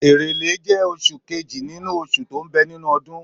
Èrèlé jẹ́ oṣù kejì nínú oṣù tó ń bẹ nínú ọdún.